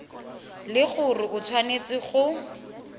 le gore o tshwanetse go